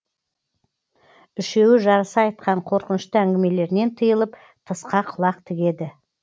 үшеуі жарыса айтқан қорқынышты әңгімелерінен тыйылып тысқа құлақ тігеді